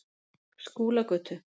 Skúlagötu